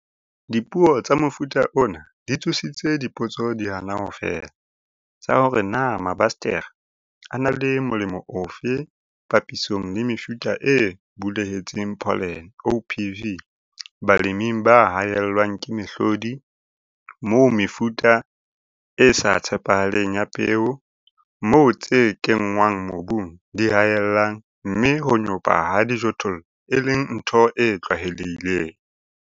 Dipuo tsa mofuta ona di tsositse dipotso di hana ho fela, tsa hore na mabasetere a na le molemo ofe papisong le mefuta e bulehetseng pholene, OPV, baleming ba haellwang ke mehlodi, moo mefuta e sa tshepahaleng ya peo, moo tse kenngwang mobung di haellang, mme ho nyopa ha dijothollo e leng ntho e tlwaelehileng.